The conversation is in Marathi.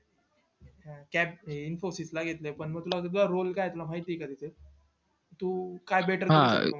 त्यात infosys ला घेतलं पण म role काय माहित ये का तुला तुझा तिथे तु